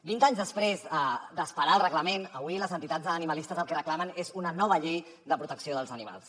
vint anys després d’esperar el reglament avui les entitats animalistes el que reclamen és una nova llei de protecció dels animals